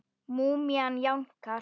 Múmían jánkar.